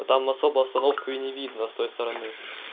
там особо остановку и не видно с той стороны